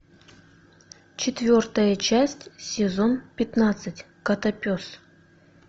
четвертая часть сезон пятнадцать котопес